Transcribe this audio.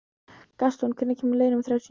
Gaston, hvenær kemur leið númer þrjátíu og níu?